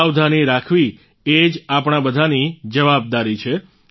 સાવધાની રાખવી એ જ આપણા બધાની જવાબદારી છે